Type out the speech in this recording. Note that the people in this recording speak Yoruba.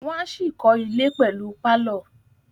Wọ́n á ṣì kọ́ ilẹ̀ pẹ̀lú pálọ̀